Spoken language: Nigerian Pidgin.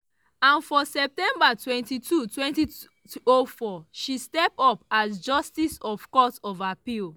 and for september 22 2004 she step up as justice of the court of appeal.